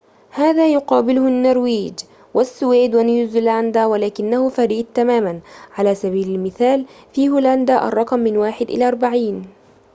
هذا يقابله النرويج، والسويد ونيوزيلندا، ولكنه فريد تماماً على سبيل المثال في هولندا، الرقم من واحد إلى أربعين